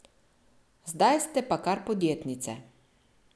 Zdaj ste pa kar podjetnice!